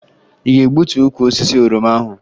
Ị ga-egbutu ukwu osisi oroma ahụ?